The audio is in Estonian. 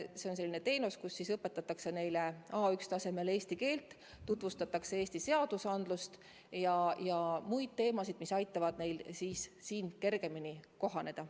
See on selline teenus, kus õpetatakse A1 tasemel eesti keelt, tutvustatakse Eesti seadusandlust ja muid teemasid, mis aitavad neil siin kergemini kohaneda.